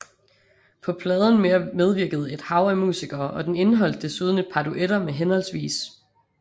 På pladen medvirkede et hav af musikere og den indeholdt desuden et par duetter med hhv